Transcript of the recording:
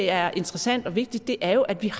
er interessant og vigtigt er jo at vi